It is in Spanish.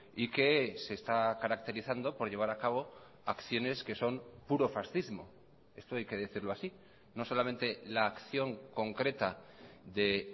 y que se está caracterizando por llevar a cabo acciones que son puro fascismo esto hay que decirlo así no solamente la acción concreta de